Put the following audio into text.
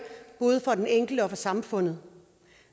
både for den enkelte og for samfundet